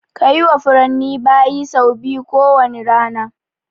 Kayi wa furanni bayi sau biyu ko wane rana